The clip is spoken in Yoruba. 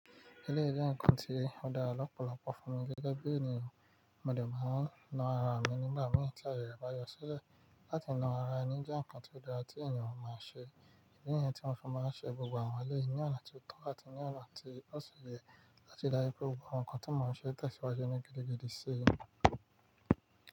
Éléyì je nkan ti o dára lọ̀pọ̀lọpọ̀ fùn mi gẹ́gẹ́ bí ènìyàn. Mo dẹ̀ máa ń na ara mi nígbà mìí tí ayẹrẹ bá yọ sílẹ̀. Láti na ara ni í jẹ́ ǹkan tó dára tí ènìyàn ó máa ń ṣe. Ìdí nìyẹn tí mo fi máa ń ṣe gbogbo àwọn èléyi ní ọ̀nà tó tọ́ àti ní ọ̀nà tí ó ṣi ye láti rí dá ju pé gbogbo àwọn ǹkan tí mò ń ṣe ń tẹ̀síwájú ni gidigidi sí i.